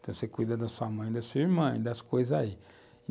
Então, você cuida da sua mãe, da sua irmã e das coisas aí.